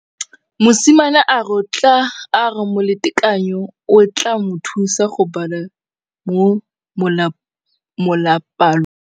Mosimane a re molatekanyô o tla mo thusa go bala mo molapalong.